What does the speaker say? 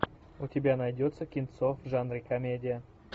у тебя найдется кинцо в жанре комедия